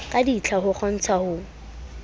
ka ditlha ho kgontsha ho